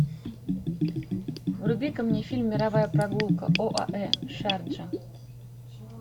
врубика мне фильм мировая прогулка оаэ шарджа